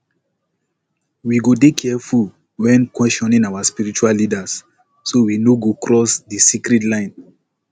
we go dey careful when questioning our spiritual leaders so we no go cross di sacred lines